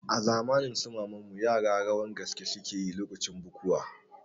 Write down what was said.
A zamanin su maman mu yara rawan gaske suke yi lokacin bukuwa